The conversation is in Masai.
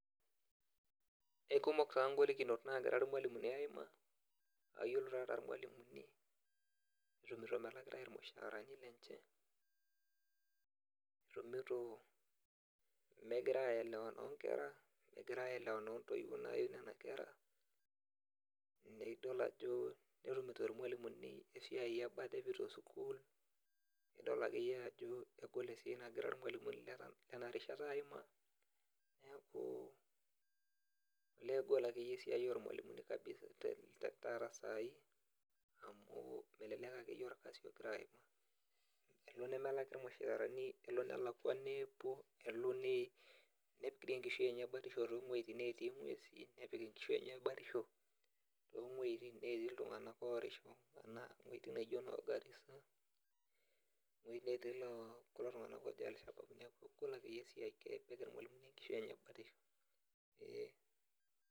Ekumok taa golikinot nagira irmalimuni aimaa, ayiolo taata irmalimuni, itumito melakitae irmushaarani lenche, etumito megira aelewana onkera, megira aelewana ontoiwuo nayu nena kera, nidol ajo netumito irmalimuni esiai ebata epoito sukuul, nidol akeyie ajo egol esiai nagira irmalimuni lenarishata aimaa, neku elee egol akeyie esiai ormalimuni kabisa taata sai, neku melelek akeyie orkasi ogira aimaa. Kelo nemelaki irmushaarani, kelo nelakwa neepuo, kelo nepik enkishui enye batisho towueiting netii ng'uesi, nepik enkishui enye batisho tong'uejiting netii iltung'anak orisho, ana wueiting naijo no Garissa, ewoi netii loo kulo tung'anak oji Alshabaab. Kegol akeyie esiai. Kepikita irmalimuni enkishui enye batisho. Ee.